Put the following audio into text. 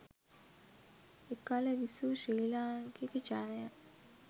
එකල විසූ ශ්‍රී ලාංකික ජනයා